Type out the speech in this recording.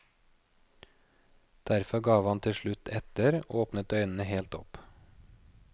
Derfor gav han til slutt etter, åpnet øynene helt opp.